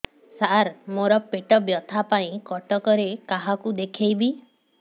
ସାର ମୋ ର ପେଟ ବ୍ୟଥା ପାଇଁ କଟକରେ କାହାକୁ ଦେଖେଇବି